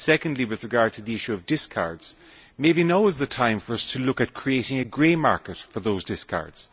Secondly, with regard to the issue of discards, maybe now is the time to look at creating a grey market for those discards.